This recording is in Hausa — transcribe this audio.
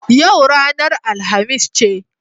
Yau ranar Alhamis ce.